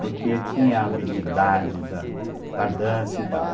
Porque tinha a habilidade da da dança e tal.